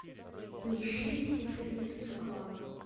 поищи сицилийский клан